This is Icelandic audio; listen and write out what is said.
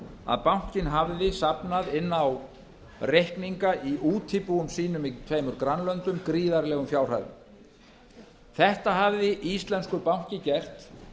að bankinn hafði safnað inn á reikninga í útibúum sínum í tveimur grannlöndum gríðarlegum fjárhæðum þetta hafði íslenskur banki gert